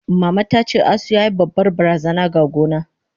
Mama tace, asu yayi babbar barazana ga gona.